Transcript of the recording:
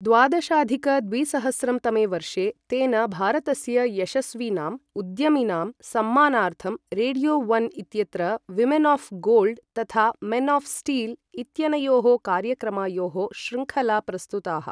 द्वादशाधिक द्विसहस्रं तमे वर्षे तेन भारतस्य यशस्विनाम् उद्यमिनां सम्मानार्थं रेडियो ओन् इत्यत्र विमेन् आऴ् गोल्ड् तथा मेन् आऴ् स्टील् इत्यनयोः कार्यक्रमायोः शृङ्खला प्रस्तुताः।